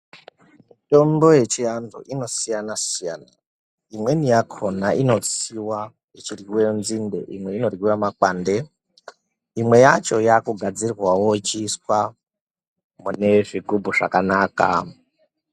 Mitombo yechiantu inosiyana-siyana. imweni yakona inotsiwa ichiryiwe nzinde, imwe inoryiwe makwande. Imwe yacho yaakugadzirwawo yechiiswa mune zvigubhu zvakanaka.